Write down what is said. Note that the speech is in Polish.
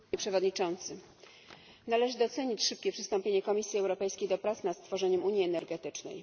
Panie Przewodniczący! Należy docenić szybkie przystąpienie Komisji Europejskiej do prac nad stworzeniem unii energetycznej.